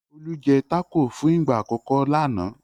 Olú jẹ́ tákò fún ìgbà àkọ́kọ́ lánàá.